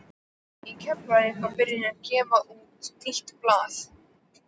Í Keflavík var byrjað að gefa út nýtt blað.